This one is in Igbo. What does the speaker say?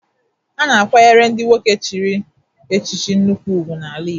A na-akwanyere ndị nwoke chiri echichi nnukwu ugwu n'ala Igbo.